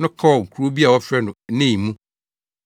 no kɔɔ kurow bi a wɔfrɛ no Nain mu.